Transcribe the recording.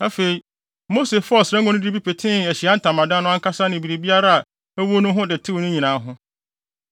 Afei, Mose faa ɔsra ngo no de bi petee Ahyiae Ntamadan no ankasa ne biribiara a ɛwɔ mu ho de tew ne nyinaa ho.